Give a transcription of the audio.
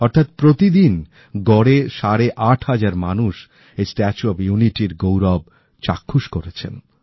অর্থাৎ প্রতিদিন গড়ে সাড়ে আট হাজার মানুষ এই স্ট্যাচু অফ ইউনিটির গৌরব চাক্ষুষ করেছে